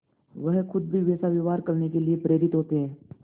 वह खुद भी वैसा व्यवहार करने के लिए प्रेरित होते हैं